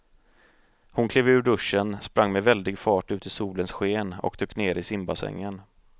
Hon klev ur duschen, sprang med väldig fart ut i solens sken och dök ner i simbassängen.